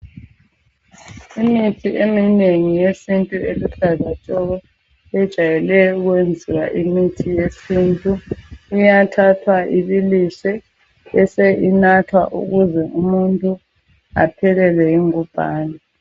Imithi eminengi yesintu eluhlaza tshoko ejwayele ukwenziwa imithi yesintu iyathathwa ibiliswe bese inathwa ukuze umuntu aphelelwe yingubhane.